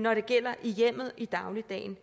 når det gælder i hjemmet i dagligdagen